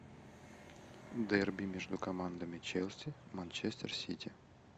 дерби между командами челси манчестер сити